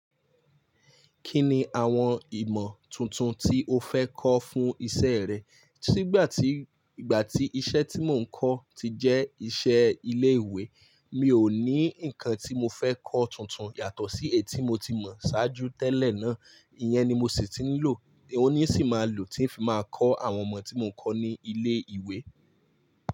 Kí ni àwọn ìmọ̀ tuntun tí o fẹ́ kọ́ fún iṣẹ́ rẹ? Sígbà tí, ìgbà tí iṣẹ́ tí mò ń kọ́ ti jẹ́ iṣẹ́ ilé ìwé, mi ò ní nǹkan tí mo fẹ́ kọ́ tuntun yàtọ̀ sí èyí tí mo ti mọ̀ ṣáájú tẹ́lẹ̀ náà. Iyẹn ni mo sì ti ń lò, òun ní sì máa lò tí ń fi máa kọ́ àwọn ọmọ tí mò ń kọ́ ní ilé ìwé.